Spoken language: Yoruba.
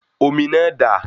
Omi náà dà?